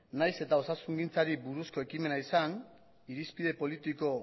nahiz eta osasungintzari buruzko ekimena izan irizpide politiko